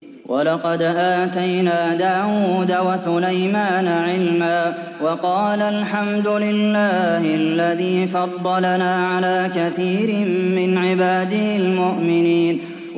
وَلَقَدْ آتَيْنَا دَاوُودَ وَسُلَيْمَانَ عِلْمًا ۖ وَقَالَا الْحَمْدُ لِلَّهِ الَّذِي فَضَّلَنَا عَلَىٰ كَثِيرٍ مِّنْ عِبَادِهِ الْمُؤْمِنِينَ